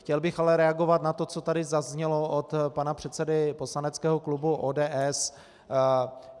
Chtěl bych ale reagovat na to, co tady zaznělo od pana předsedy poslaneckého klubu ODS.